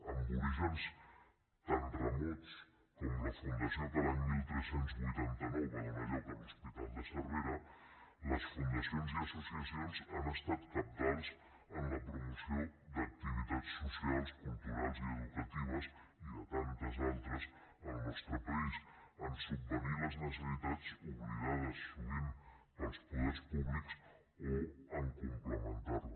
amb orígens tan remots com la fundació que l’any tretze vuitanta nou va donar lloc a l’hospital de cervera les fundacions i associacions han estat cabdals en la promoció d’activitats socials culturals i educatives i de tantes altres al nostre país a subvenir les necessitats oblidades sovint pels poders públics o a complementar les